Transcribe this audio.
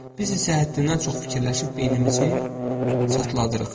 Biz isə həddindən çox fikirləşib beynimizi çatladırıq.